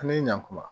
An ni ɲankuma